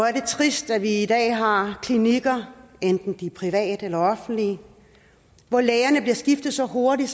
er det trist at vi i dag har klinikker enten private eller offentlige hvor lægerne skifter så hurtigt